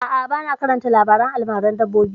A'a, ba na karanta labaren almaran dabbobi